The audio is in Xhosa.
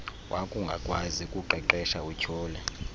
wakungakwazi ukuqeqesha utyhole